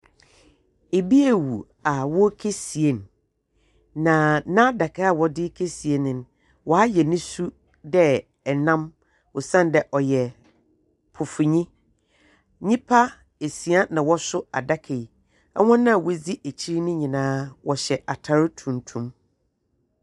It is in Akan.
Ibi awu a wɔrekesie no, na n'adaka a wɔdze rekesie no no, wɔayɛ ne su dɛ nnam osian dɛ ɔyɛ pofonyi. Nnipa esia na wɔso adaka yi. Hɔn a wodzi akyir no nyinaa wɔhyɛ atar tuntum.